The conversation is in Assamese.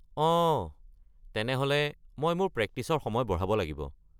অঁ, তেনেহ’লে মই মোৰ প্ৰেক্টিচৰ সময় বঢ়াব লাগিব।